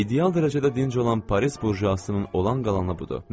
İdeal dərəcədə dinc olan Paris burjasının olan qalanı budur.